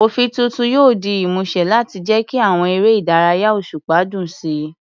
Òfin tuntun yóò di ìmúṣẹ láti jẹ́ kí àwọn eré ìdárayá òṣùpá dùn sí i.